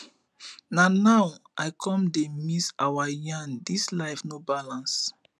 na now i come dey miss our yarn this life no balance